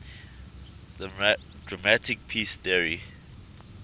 democratic peace theory